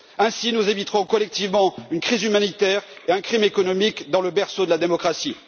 Ainsi, nous éviterons collectivement une crise humanitaire et un crime économique dans le berceau de la démocratie.